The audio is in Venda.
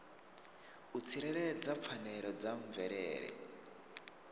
u tsireledza pfanelo dza mvelele